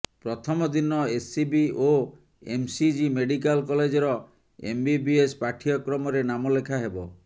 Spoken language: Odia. ପ୍ରଥମ ଦିନ ଏସ୍ସିବି ଓ ଏମ୍କେସିଜି ମେଡିକାଲ କଲେଜର ଏମ୍ବିବିଏସ୍ ପାଠ୍ୟକ୍ରମରେ ନାମଲେଖା ହେବ